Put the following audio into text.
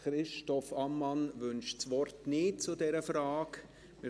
Christoph Ammann wünscht das Wort zu dieser Frage nicht.